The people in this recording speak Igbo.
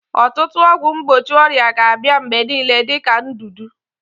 Ọtụtụ ọgwụ mgbochi ọrịa ga-abịa mgbe niile dị ka ndudu.